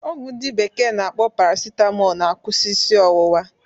Ọgwụ ndi bekee na-akpọ parasitamọl na-akwụsị isi ọwụwa